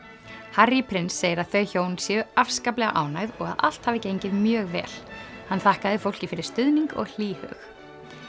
Harry prins segir að þau hjón séu afskaplega ánægð og að allt hafi gengið mjög vel hann þakkaði fólki fyrir stuðning og hlýhug